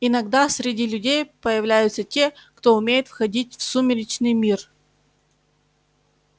иногда среди людей появляются те кто умеет входить в сумеречный мир